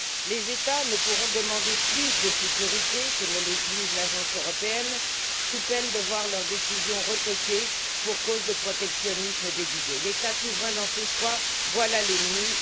Les États ne pourront pas demander plus de sécurité que ne l'exige l'Agence européenne, sous peine de voir leurs décisions retoquées pour cause de protectionnisme déguisé. L'État souverain dans ses choix, voilà l'ennemi!